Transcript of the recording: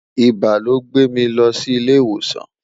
ibà ló gbè mí ló ilé ìwòsàn